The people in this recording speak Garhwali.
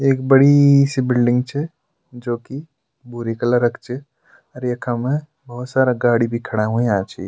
एक बड़ी सी बिलडिंग च जोकि भूरे कलर क च और यखम भोत सारा गाडी भी खड़ा हुयां छि।